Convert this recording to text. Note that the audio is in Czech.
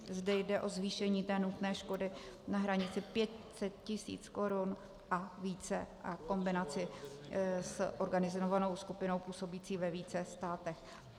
Zde jde o zvýšení té nutné škody na hranici 500 tisíc Kč a více a kombinaci s organizovanou skupinou působící ve více státech.